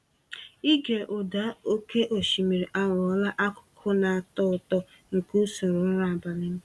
Ịge ụda oke osimiri aghọla akụkụ na-atọ ụtọ nke usoro ụra abalị m.